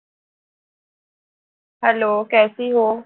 Hello